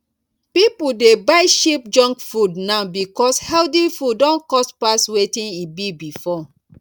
people dey buy cheap junk food now because healthy food don cost pass wetin e be before